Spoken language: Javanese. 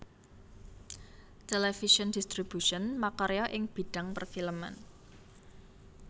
Television Distribution makarya ing bidhang perfilman